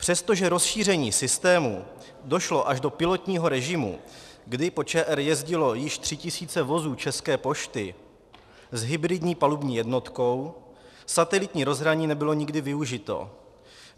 Přestože rozšíření systému došlo až do pilotního režimu, kdy po ČR jezdilo již 3 tisíce vozů České pošty s hybridní palubní jednotkou, satelitní rozhraní nebylo nikdy využito.